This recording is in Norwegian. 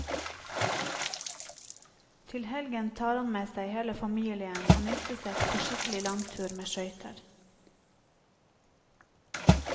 Til helgen tar han med seg hele familien og nistesekk på skikkelig langtur med skøyter.